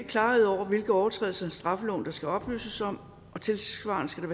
klarhed over hvilke overtrædelser af straffeloven der skal oplyses om tilsvarende skal